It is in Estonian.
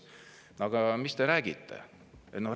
Aga mis te räägite?